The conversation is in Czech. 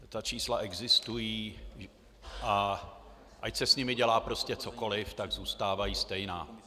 Ta čísla existují, a ať se s nimi dělá prostě cokoliv, tak zůstávají stejná.